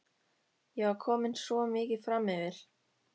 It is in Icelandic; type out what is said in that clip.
Ég var komin svo mikið framyfir.